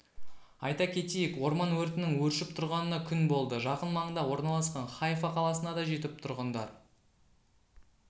айта кетейік орман өртінің өршіп тұрғанына күн болды жақын маңда орналасқан хайфа қаласына да жетіп тұрғындар